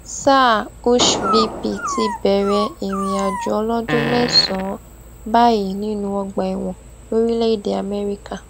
sáà hushhvilpì ti bẹrẹ ìrìnàjò ọlọdún mẹsànán báyìí nínú ọgbà ẹwọn lórílẹèdè Amerika